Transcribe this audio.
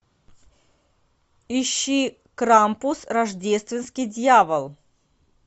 ищи крампус рождественский дьявол